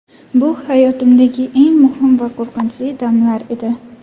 Bu hayotimdagi eng muhim va qo‘rqinchli damlar edi.